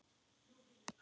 Það var grátið!